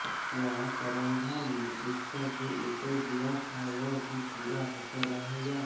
क्या सारन्धा ने उसका जो उत्तर दिया था वह भी पूरा होकर रहेगा